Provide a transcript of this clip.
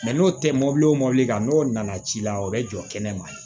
n'o tɛ mɔbili o mɔbili kan n'o nana ci la o bɛ jɔ kɛnɛ ma yen